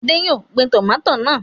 Adé yóò gbin tòmátì náà.